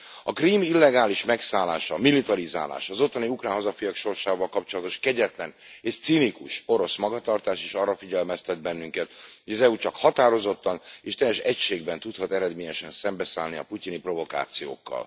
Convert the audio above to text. A Krím illegális megszállása, militarizálása, az ottani ukrán hazafiak sorsával kapcsolatos kegyetlen és cinikus orosz magatartás is arra figyelmeztet bennünket, hogy az EU csak határozottan és teljes egységben tudhat eredményesen szembeszállni a putyini provokációkkal.